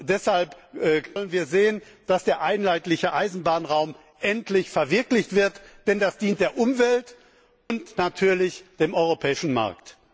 Deshalb wollen wir sehen, dass der einheitliche Eisenbahnraum endlich verwirklicht wird, denn er dient der Umwelt und natürlich dem europäischen Markt!